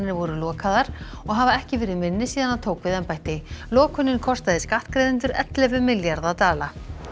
voru lokaðar og hafa ekki verið minni síðan hann tók við embætti lokunin kostaði skattgreiðendur ellefu milljarða dala